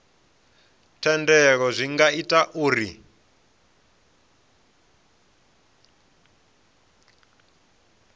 thendelo zwi nga ita uri